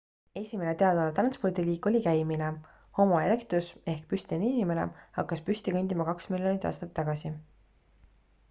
esimene teadaolev transpordiliik oli käimine — homo erectus ehk püstine inimene hakkas püsti kõndima kaks miljonit aastat tagasi